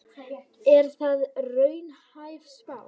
Er það raunhæf spá?